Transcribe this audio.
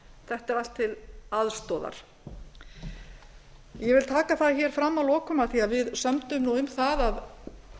þetta er allt til aðstoðar ég vil taka fram hér að lokum af því við sömdum nú um það að